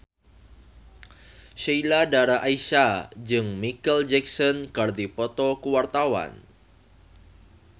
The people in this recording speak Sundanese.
Sheila Dara Aisha jeung Micheal Jackson keur dipoto ku wartawan